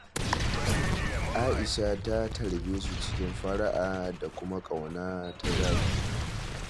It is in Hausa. Aisha ta tarbe su cikin fara'a da kuma ƙauna ta zahiri